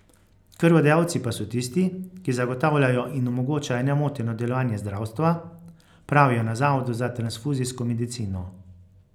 Krvodajalci pa so tisti, ki zagotavljajo in omogočajo nemoteno delovanje zdravstva, pravijo na zavodu za transfuzijsko medicino.